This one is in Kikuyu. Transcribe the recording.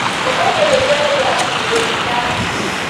ũmũthĩ nĩnjereirwo hanini gũkinya